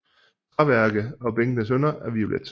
Træværket og bænkenes hynder er violet